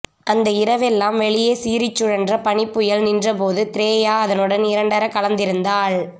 அந்த இரவெல்லாம் வெளியே சீறிச் சுழன்ற பனிப்புயல் நின்றபோது த்ரேயா அதனுடன் இரண்டறக் கலந்திருந்தாள்